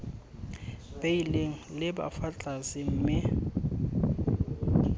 beilweng leba fa tlase mme